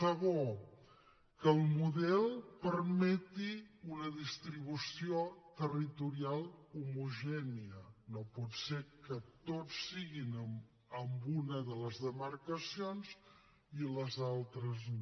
segon que el model permeti una distribució territorial homogènia no pot ser que tot sigui en una de les demarcacions i a les altres no